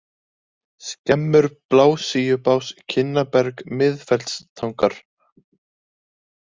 Skemmur, Blasíubás, Kinnaberg, Miðfellstangar